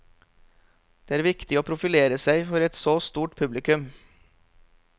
Det er viktig å profilere seg for et så stort publikum.